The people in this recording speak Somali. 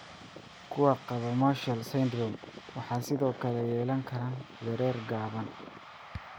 Kuwa qaba Marshal syndrome waxay sidoo kale yeelan karaan dherer gaaban.